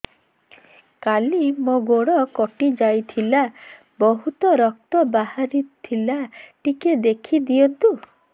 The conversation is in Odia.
କାଲି ମୋ ଗୋଡ଼ କଟି ଯାଇଥିଲା ବହୁତ ରକ୍ତ ବାହାରି ଥିଲା ଟିକେ ଦେଖି ଦିଅନ୍ତୁ